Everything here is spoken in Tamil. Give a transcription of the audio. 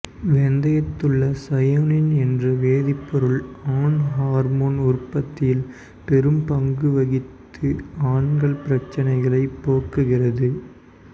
வெந்தயத்திலுள்ள சயோனின் என்ற வேதிப்பொருள் ஆண் ஹார்மோன் உற்பத்தியில் பெரும் பங்கு வகித்து ஆண்கள் பிரச்சனைகளை போக்குகிறது